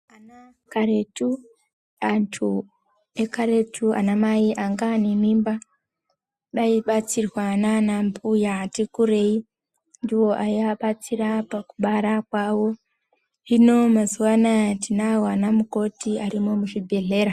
Karetu antu ekaretu anamai anga ane mimba aibatsirwa nanambuya ati kurei ndiwo aiabatsita pakubara kwawo. Hino mazuwa anaya tinawo anamukoti arimo muzvibhedhlera.